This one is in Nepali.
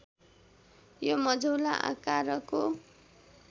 यो मझौला आकारको